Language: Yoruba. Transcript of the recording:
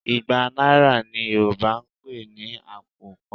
Igba náírà ni Yorùbá ń pè ní àpò kan